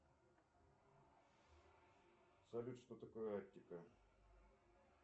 салют что такое арктика